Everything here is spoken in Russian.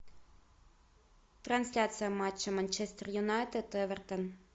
трансляция матча манчестер юнайтед эвертон